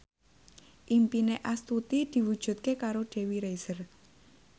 impine Astuti diwujudke karo Dewi Rezer